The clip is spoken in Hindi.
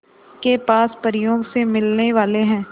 के पास परियों से मिलने वाले हैं